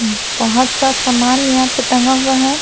बहुत सा सामान यहाँ पे टाँग हुआ है।